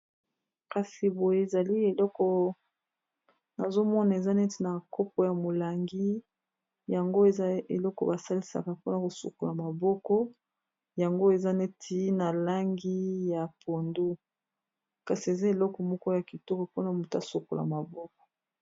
Kasi boye, ezali eloko nazo mona ; eza neti na kopo ya molangi. Yango eza, eloko ba salisaka, mpona ko sukola maboko. Yango eza, neti na langi ya pondu. Kasi eza, eleko moko ya kitoko, mpona ko sukola maboko.